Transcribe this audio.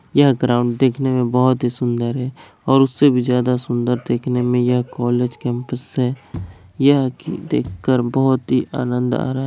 यह ग्राउंड देखने में बहुत ही सुन्दर है और उसे भी ज्यादा सुन्दर दिखने में ये कॉलेज कैंपस है यह देख कर बहुत ही आनंद आ रहा है।